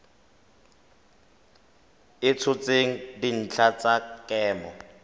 a tshotseng dintlha tsa kemo